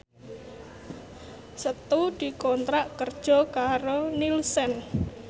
Setu dikontrak kerja karo Nielsen